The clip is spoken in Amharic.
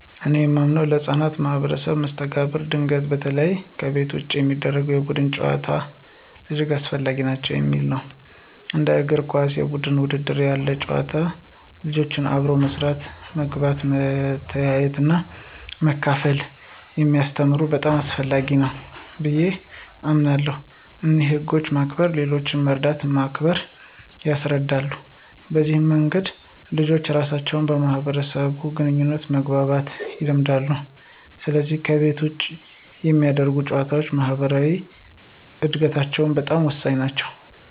እኔ የማምነው ለሕፃናት የማኅበራዊ መስተጋብር እድገት በተለይ ከቤት ውጭ የሚደረጉ የቡድን ጨዋታዎች እጅግ አስፈላጊ ናቸው የሚለው ነው። እንደ እግር ኳስ እና የቡድን ውድድሮች ያሉ ጨዋታዎች ልጆችን አብሮ መስራት፣ መግባባት፣ መተያየትና መካፈል ስለሚያስተምሩ በጣም አስፈላጊ ናቸው ብየ አምናለሁ። እንዲሁም ህግን ማክበር፣ ሌሎችን መርዳትና ማክበር ያስለምዳሉ። በዚህ መንገድ ልጆች ራሳቸውን በማህበራዊ ግንኙነት መግባባት ይለምዳሉ፣ ስለዚህ ከቤት ውጭ የሚደረጉ ጨዋታዎች ለማኅበራዊ እድገታቸው በጣም ወሳኝ ናቸው።